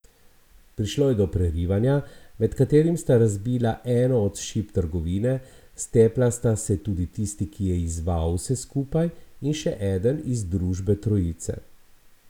Prišlo je do prerivanja, med katerim sta razbila eno od šip trgovine, stepla sta se tudi tisti, ki je izzval vse skupaj, in še eden iz družbe trojice.